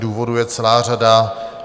Důvodů je celá řada.